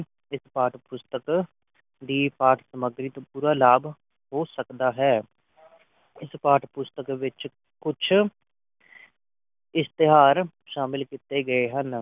ਇਸ ਪਾਠ ਪੁਸਤਕ ਦੀ ਪਾਠ ਸਮਗਰੀ ਤੋਂ ਪੂਰਾ ਲਾਭ ਹੋ ਸਕਦਾ ਹੈ ਇਸ ਪਾਠ ਪੁਸਤਕ ਵਿਚ ਕੁਝ ਇਸ਼ਤਿਹਾਰ ਸ਼ਾਮਲ ਕੀਤੇ ਗਏ ਹਨ